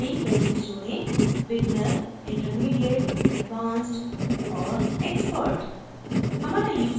यहाँ अपनी values जोडेंbeginner intermediate advanced और expert